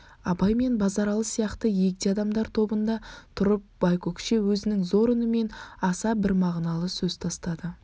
абай мен базаралы сияқты егде адамдар тобында тұрып байкөкше өзінің зор үнімен аса бір мағыналы сөз тастады